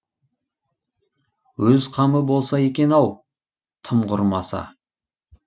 өз қамы болса екен ау тым құрмаса